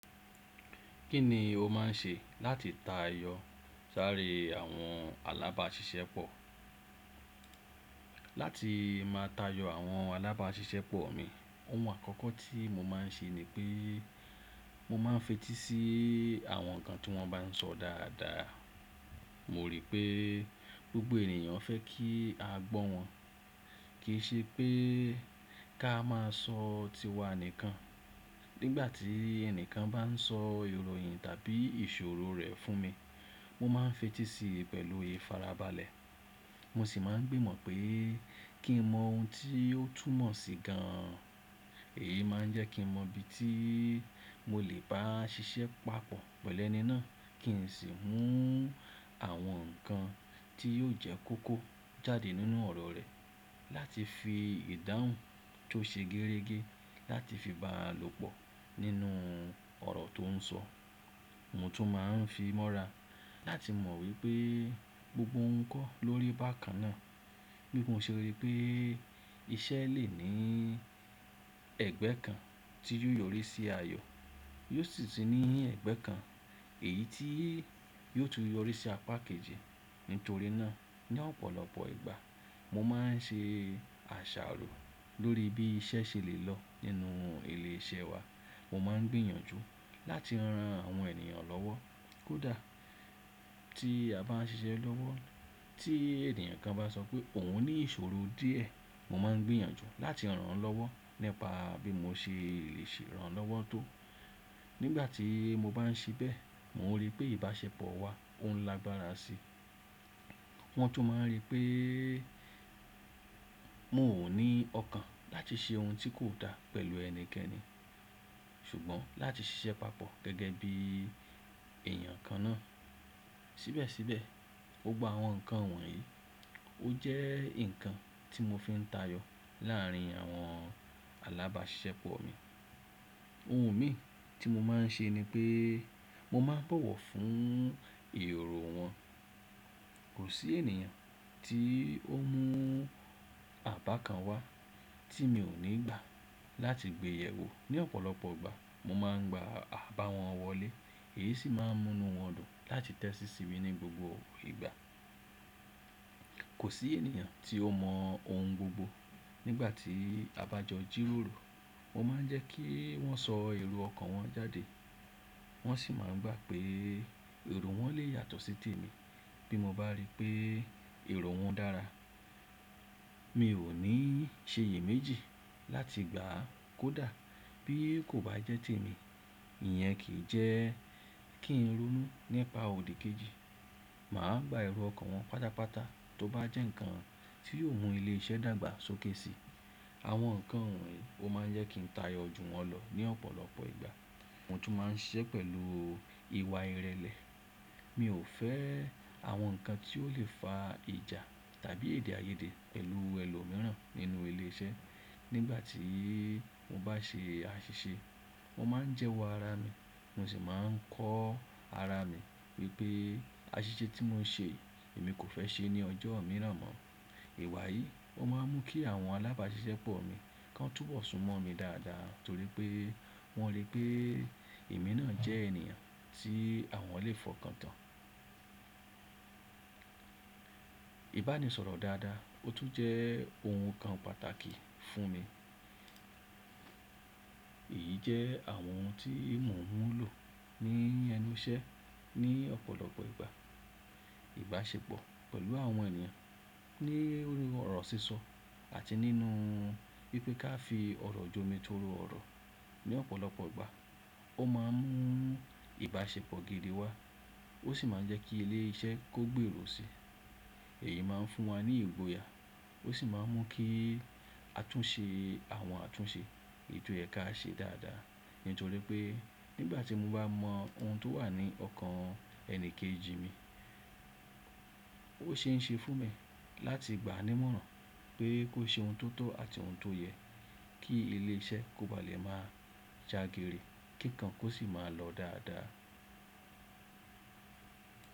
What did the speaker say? Kí ni o máa ń ṣe láti tayọ sáré àwọn alábáṣiṣẹ́ pọ̀? Láti máa tayọ àwọn alábáṣiṣẹ́ pọ̀ mi, ohun àkọ́kọ́ tí mo máa ń ṣe ni pé mo máa ń fetí sí àwọn nǹkan tí wọ́n bá ń sọ dáadáa. Mo rí pé gbogbo ènìyàn fẹ́ kí a gbọ́ wọn, kì í ṣe pé ká máa sọ tiwa nìkan. Nígbà tí ẹni kan bá ń sọ ìròyìn tàbí ìṣòro rẹ̀ fún mi, mo máa ń fetí sí i pẹ̀lú ìfarabalẹ̀. Mo sì máa ń gbìmọ̀ pé kí n mọ ohun tí yóò túmọ̀ sí gan an. Èyí máa ń jẹ́ kí mo mọ ibi tí mo lè bá ṣiṣẹ́ papọ̀ pẹ̀lú ẹni náà kí n sì mú àwọn nǹkan tí yóò jẹ́ kókó jáde nínú ọ̀rọ̀ rẹ̀ láti fi ìdáhùn tó ṣe gẹ́rẹ́gẹ́ láti fi bá lòpọ̀ nínú ọ̀rọ̀ tó ń sọ. Mo tún máa ń fi mọ́ra láti mọ̀ wípé gbogbo n kọ́ lórí bákan náà. Bí mo ṣe rí pé iṣẹ́ lè ní ẹ̀gbẹ́ kan tí yóò yọrí sí ayọ, yóò sì tí ní ẹ̀gbẹ́ kan èyí tí yóò tún yọrí sí apákejì. Nítorí náà, ní ọ̀pọ̀lọpọ̀ ìgbà mo máa ń ṣe àṣàrò lórí bí iṣẹ́ ṣe lè lọ nínú ilé iṣẹ́ wa. Mo máa ń gbìyànjú láti ran àwọn ènìyàn lọ́wọ́, kódà tí a bá ń ṣiṣẹ́ lọ́wọ́. Tí ènìyàn kan bá sọ pé òun ní ìṣòro díẹ̀, mo máa ń gbìyànjú láti ràn án lọ́wọ́ nípa bí mo ṣe lè ṣe ràn án lọ́wọ́ tó. Nígbà tí mo bá ń ṣe bẹ́ẹ̀, mo rí pé ìbáṣepọ̀ wa ó ń lágbára síi. Wọ́n tún máa ń rí pé mò ní ọ̀kàn láti ṣe ohun tí kò dá pẹ̀lú ẹnikẹ́ni ṣùgbọ́n láti ṣiṣẹ́ papọ̀ gẹ́gẹ́ bí èèyàn kan náà. Síbẹ̀síbẹ̀, ó gba àwọn nǹkan wọ̀nyí. Ó jẹ́ nǹkan tí mo fi ń tayọ láàárín àwọn alábáṣiṣẹ́ pọ̀ mi. Ohun mìíràn tí mo máa ń ṣe ni pé mo máa ń bọ̀wọ̀ fún ìròro wọn. Kò sí ènìyàn tí ó mú àbá kan wá tí mi ò nígbà láti gbé yè wò. Ní ọ̀pọ̀lọpọ̀ ìgbà mo máa ń gba àbá wọn wọlé, èyí sì máa ń mú ní wọ́n dùn láti tẹ́tí sí mi ní gbogbo ìgbà. Kò sí ènìyàn tí ó mọ ohun gbogbo. Nígbà tí a bá jọ jírórò, mo máa ń jẹ́ kí wọ́n sọ èrò ọkàn wọn jáde, wọ́n sì máa ń gbà pé èrò wọn lè yàtọ̀ sí ti èmi. Bí mo bá rí pé èrò wọn dára, mi ò ní ṣe èyí méjì láti gbà á, kódà bí kò bá jẹ́ ti èmi. Ìyẹn kì í jẹ́ kí n ronú nípa òdì kejì. Mà á gba èrò ọkàn wọn pàtàpàtà tó bá jẹ́ nǹkan tí yóò mú ilé iṣẹ́ dàgbà sókè síi. Àwọn nǹkan wọ̀nyí ó máa ń jẹ́ kí n tayọ ojú wọn lọ ní ọ̀pọ̀lọpọ̀ ìgbà. Mo tún máa ń ṣe é pẹ̀lú ìwà ìrẹ̀lẹ̀. Mi ò fẹ́ àwọn nǹkan tí ó lè fa ìjà tàbí èdè-áiyedé pẹ̀lú ẹlòmíràn nínú ilé iṣẹ́. Nígbà tí mo bá ṣe àṣìṣe, mo máa ń jẹ́wọ́ ara mi, mo sì máa ń kọ́ ara mi wípé àṣìṣe tí mò ń ṣe, èmi kò fẹ́ ṣe ní ọjọ́ mìíràn mọ́. Ìwà yìí ó máa ń mú kí àwọn alábáṣiṣẹ́ pọ̀ mi kán túbọ̀ súnmọ́ mi dáadáa torí pé wọ́n rí pé èmi náà jẹ́ ènìyàn tí àwọn lè fọkàn tán. Ìbánisọ̀rọ̀ dáadáa ó tún jẹ́ ohun kan pàtàkì fún mi. Èyí jẹ́ àwọn ohun tí mò ń lò ní ẹnu iṣẹ́ ní ọ̀pọ̀lọpọ̀ ìgbà. Ìbáṣepọ̀ pẹ̀lú àwọn ènìyàn lórí ọ̀rọ̀ sísọ àti nínú wípé ká fi ọ̀rọ̀ jomi torí ọ̀rọ̀ ní ọ̀pọ̀lọpọ̀ ìgbà ó máa ń mú ìbáṣepọ̀ gidi wá ó sì máa ń jẹ́ kí ilé iṣẹ́ kó gbèrò sí i. Èyí máa ń fún wa ní ìgboyà ó sì máa ń mú kí àtúnṣe àwọn àtúnṣe ètò ẹ̀ ka ṣe dáadáa nítorí pé nígbà tí mo bá mọ ohun tó wà ní ọkàn ẹni kejì mi, ó ṣe é ṣe fún mi láti gbáa nímọ̀ràn pé kó ṣe ohun tó tọ́ àti ohun tó yẹ kí ilé iṣẹ́ kó ba lè má jagere kí nǹkan kó sì máa lọ dáadáa.